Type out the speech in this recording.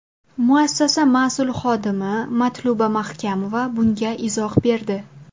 Muassasa mas’ul xodimi Matluba Mahkamova bunga izoh berdi.